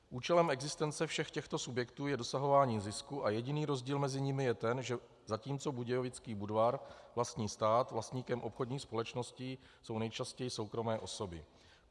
Účelem existence všech těchto subjektů je dosahování zisku a jediný rozdíl mezi nimi je ten, že zatímco Budějovický Budvar vlastní stát, vlastníkem obchodních společností jsou nejčastěji soukromé osoby.